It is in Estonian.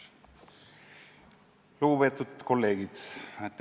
Lugupeetud kolleegid!